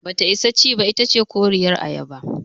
Bata isa ci ba, itace koriyar ayaba.